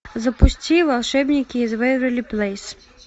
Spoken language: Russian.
запусти волшебники из вэйверли плэйс